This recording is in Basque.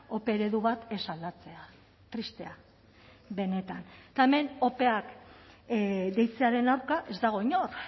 ope eredu bat ez aldatzea tristea benetan eta hemen opeak deitzearen aurka ez dago inor